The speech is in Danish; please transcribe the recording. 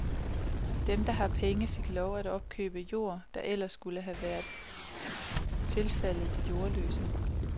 Dem, der har penge, fik lov til at opkøbe jord, der ellers skulle være tilfaldet de jordløse.